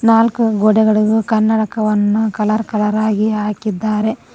ನಾಲ್ಕು ಗೋಡೆಗಳಿಗೂ ಕನ್ನಡಕವನ್ನು ಕಲರ್ ಕಲರ್ ಆಗಿ ಹಾಕಿದ್ದಾರೆ.